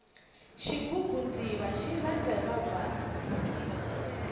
xigubu ndzumba xi lava hiva bvana